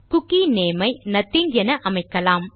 cookie name ஐ nothing என அமைக்கலாம்